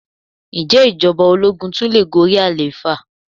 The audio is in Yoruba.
Ǹjẹ́ ìjọba ológun tun le gorí àlééfà?